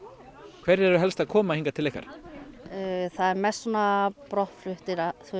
hverjir eru helst að koma hingað til ykkar það eru mest brottfluttir